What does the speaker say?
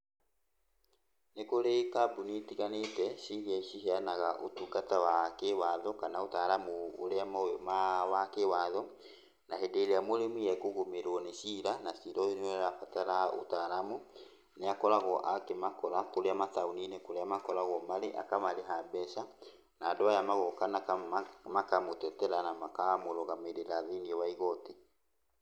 Nĩ kũrĩ kambuni itiganĩte ciria ciheanaga ũtungata wa kĩwatho, kana ũtaaramu ũrĩa ma wa kĩwatho. Na hĩndĩ ĩrĩa mũrĩmi ekũgũmĩrwo nĩ cira, na cira ũyũ nĩ ũrabatara ũtaaramu, nĩ akoragwo akĩmakora kũrĩa mataũni-inĩ kũrĩa makoragwo marĩ, akamarĩha mbeca na andũ aya magooka, na kamwe makamũtetera na makamũrũgamĩrĩra thĩiniĩ wa igoti.